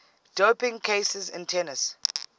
doping cases in tennis